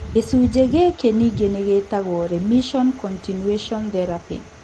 Gĩcunjĩ gĩkĩ ningĩ nĩ gĩtagwo remission continuation therapy.